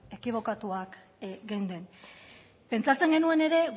ekibokatuak geunden pentsatzen genuen ere